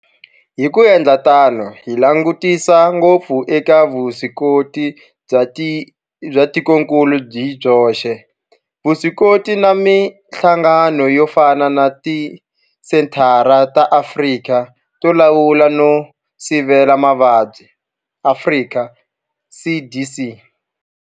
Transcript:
Hi ku endla tano hi langutisa ngopfu eka vuswikoti bya tikokulu hi byoxe, vuswikoti na mihlangano yo fana na Tisenthara ta Afrika to Lawula no Sivela Mavabyi Afrika CDC.